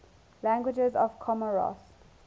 languages of comoros